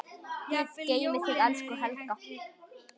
Guð geymi þig, elsku Helga.